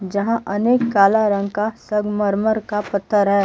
यहां अनेक काला रंग का संगमरमर का पत्थर है।